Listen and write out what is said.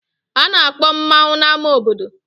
A na-akpọ mmanwu n'ámá obodo.